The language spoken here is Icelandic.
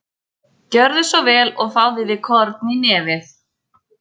Gjörðu svo vel og fáðu þér korn í nefið.